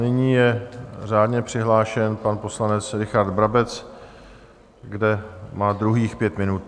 Nyní je řádně přihlášen pan poslanec Richard Brabec, kde má druhých pět minut.